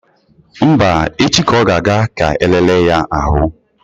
Mba, echi ka ọ ga-aga ka e lee ya ahụ.